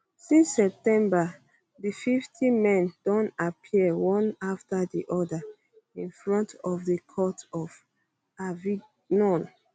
since september di 50 men don appear one after di oda in front of di court for avignon